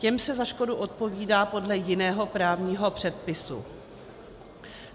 Těm se za škodu odpovídá podle jiného právního předpisu.